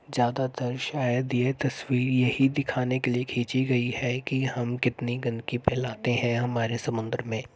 ज्यादातर शायद ये तस्वीर यहीं दिखाने के लिए खींची गई है कि हम कितनी गंदगी फैलाते हैं हमारे समुन्द्र में।